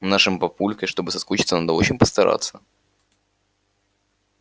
с нашим папулькой чтобы соскучиться надо очень постараться